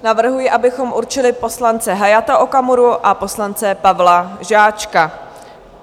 Navrhuji, abychom určili poslance Hayata Okamura a poslance Pavla Žáčka.